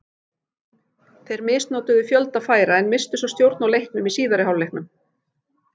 Þeir misnotuðu fjölda færa en misstu svo stjórn á leiknum í síðari hálfleiknum.